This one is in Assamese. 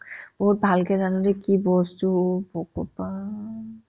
ভালকে জানো দে কি বস্তু ভগৱান